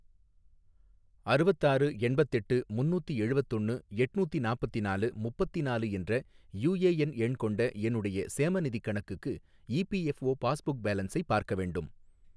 அறுவத்தாறு எண்பத்தெட்டு முன்னூத்தி எழுவத்தொன்னு எட்நூத்தி நாப்பத்திநாலு முப்பத்திநாலு என்ற யூஏஎன் எண் கொண்ட என்னுடைய சேமநிதிக் கணக்குக்கு இபிஎஃப்ஓ பாஸ்புக் பேலன்ஸை பார்க்க வேண்டும்